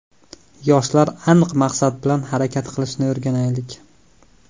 Yoshlar aniq maqsad bilan harakat qilishni o‘rganaylik.